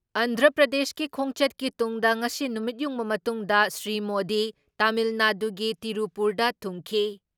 ꯑꯟꯗ꯭ꯔ ꯄ꯭ꯔꯗꯦꯁꯀꯤ ꯈꯣꯡꯆꯠꯀꯤ ꯇꯨꯡꯗ ꯉꯁꯤ ꯅꯨꯃꯤꯠꯌꯨꯡꯕ ꯃꯇꯨꯡꯗ ꯁ꯭ꯔꯤ ꯃꯣꯗꯤ ꯇꯥꯃꯤꯜꯅꯥꯗꯨꯒꯤ ꯇꯤꯔꯨꯄꯨꯔꯗ ꯊꯨꯡꯈꯤ ꯫